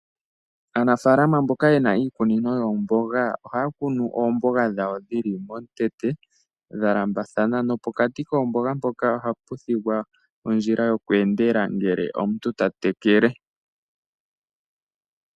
Aanafalama mboka yena iikunino yoomboga, ohaya kunu oomboga dhawo dhili momutete dhalambathana, nopokati koomboga mpoka ohapu thigwa ondjila yoku endela ngele omuntu ta tekele.